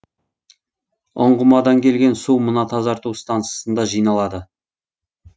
ұңғымадан келген су мына тазарту стансасында жиналады